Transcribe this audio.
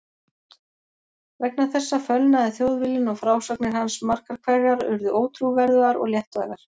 Vegna þessa fölnaði Þjóðviljinn og frásagnir hans margar hverjar urðu ótrúverðugar og léttvægar.